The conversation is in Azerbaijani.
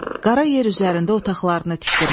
Qara yer üzərində otaqlarını tikdirmişdi.